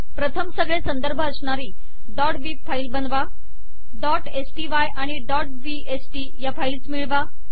प्रथम सगळे संदर्भ अश्णारी bib फाईल बनवा sty आणि bst या फाईल्स मिळवा